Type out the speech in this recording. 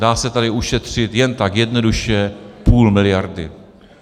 Dá se tady ušetřit jen tak jednoduše půl miliardy.